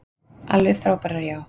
Alveg frábærar, já.